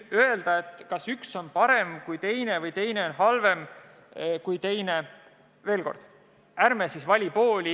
Öelda, kas üks on parem kui teine või teine on halvem kui teine – veel kord, ärme valime pooli.